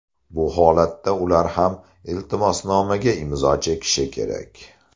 Bu holatda ular ham iltimosnomaga imzo chekishi kerak.